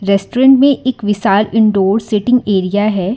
Restaurant में एक विशाल इनडोर सीटिंग एरिया है।